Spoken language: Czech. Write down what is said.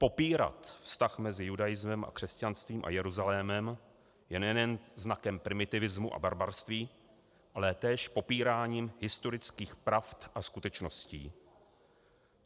Popírat vztah mezi judaismem a křesťanstvím a Jeruzalémem je nejen znakem primitivismu a barbarství, ale též popíráním historických pravd a skutečností.